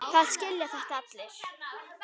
Það skilja þetta allir.